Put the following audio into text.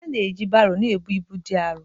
Ana-eji baro na-ebu ibu dị arọ.